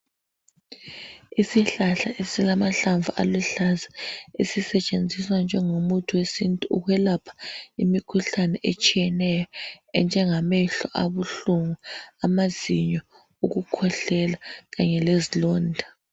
Isihlahla esilamahlamvu aluhlaza esisetshenziswa njengomuthi wesintu ukwelapha imikhuhlane etshiyeneyo enjengehlo abuhlungu, amazinyo, ukukhwehlela Kanye lezilonda